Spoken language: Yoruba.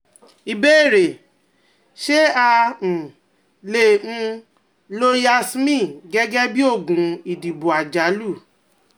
Ìbéèrè: Ṣé a um lè um lo Yasmin gẹ́gẹ́ bí oògùn ìdìbò àjálù?